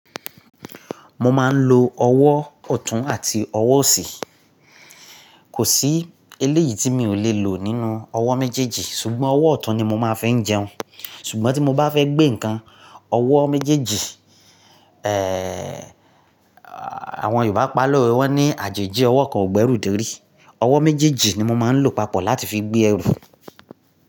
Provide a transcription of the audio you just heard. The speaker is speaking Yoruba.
Mo máa ń lo ọwọ́ ọ̀tún àti ọwọ́ osi. Kò sí eléyìí tí mi ò le lò nínú ọwọ́ méjèèjì ṣùgbọ́n ọwọ́ ọ̀tún ni mo máa ń fi n jẹun ṣùgbọ́n tí mo bá fẹ́ gbé ǹkan, ọwọ́ méjèèjì, ẹẹ́, àwọn Yorùbá pa'lowe, wọ́n ní àjèjì ọwọ́ kan ò gbẹ́rù dorí. Ọwọ́ méjèèjì ni mo máa ń lo papọ̀ láti fi gbé ẹrù.